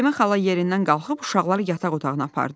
Səlimə xala yerindən qalxıb uşaqları yataq otağına apardı.